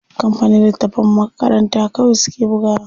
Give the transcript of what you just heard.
Kampanin littatafan makaranta kawai suke bugawa.